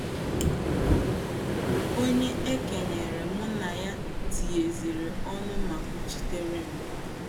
Onye e kenyere mụ na ya tinyeziri ọnụ ma kwuchitere m."